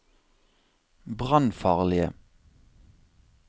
brannfarlige